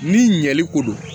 Ni ɲɛli ko do